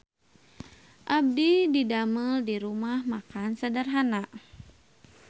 Abdi didamel di Rumah Makan Sederhana